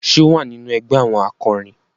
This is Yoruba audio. Ṣe o wà nínú ẹgbẹ àwọn akorin?